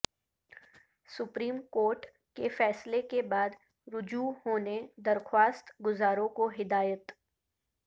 supreme court کے فیصلہ کے بعد رجوع ہونے درخواست گزاروں کو ہدایت